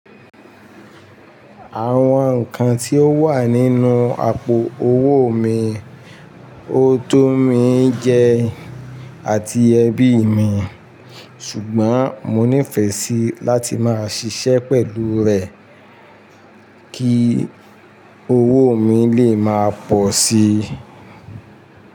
Àwọn nǹkan tí ó wà nínú àpò owó mi, ó tó mi jẹ àti ẹbí mi, ṣùgbọ́n mo nífẹ̀ẹ́ sí láti máa ṣiṣẹ́ pẹ̀lú rẹ̀ kí owó mi lè máa pọ̀ sí i.